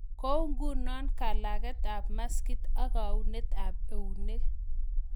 Kou ngunoo kalageet ap maskiit ak kaunet ap euneek